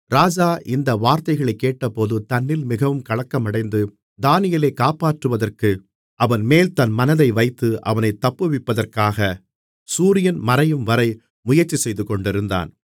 ராஜா இந்த வார்த்தைகளைக் கேட்டபோது தன்னில் மிகவும் கலக்கமடைந்து தானியேலைக் காப்பாற்றுவதற்கு அவன்மேல் தன் மனதை வைத்து அவனைத் தப்புவிப்பதற்காக சூரியன் மறையும்வரை முயற்சிசெய்துகொண்டிருந்தான்